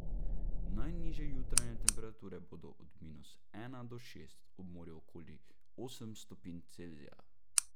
Najnižje jutranje temperature bodo od minus ena do šest, ob morju okoli osem stopinj Celzija.